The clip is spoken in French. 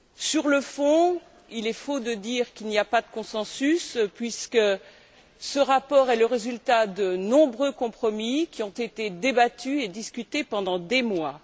Sur le fond, il est faux de dire qu'il n'y a pas de consensus, puisque ce rapport est le résultat de nombreux compromis qui ont été débattus et discutés pendant des mois.